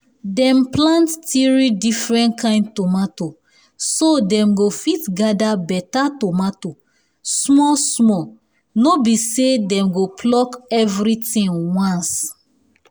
dem plant three different kain tomato so dem go fit gather better tomato small small no be say dem go pluck everything once